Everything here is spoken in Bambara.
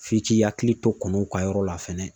F'i k'i hakili to kɔnow ka yɔrɔ la fɛnɛ.